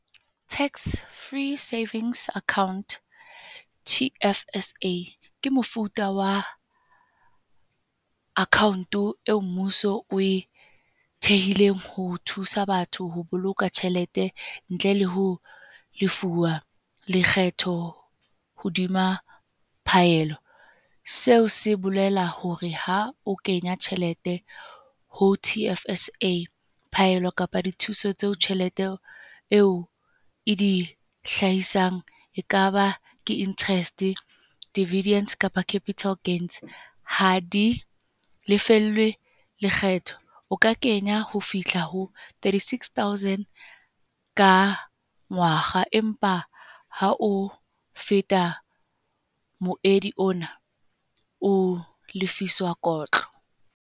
Tax-free savings account, T_F_S_A ke mofuta wa account eo mmuso o e thehileng ho thusa batho ho boloka tjhelete, ntle le ho lefuwa lekgetho hodima phaello. Seo se bolela hore ha o kenya tjhelete ho T_F_S_A, phaello kapa dithuso tseo tjhelete eo e di hlahisang ekaba ke interest, dividents, kapa capital gains. Ha di lefellwe lekgetho. O ka kenya ho fihla ho thirty-six thousand ka ngwaga. Empa ha o feta moedi ona, o lefiswa kotlo.